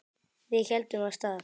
Við héldum af stað.